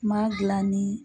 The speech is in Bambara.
Ma dilan ni.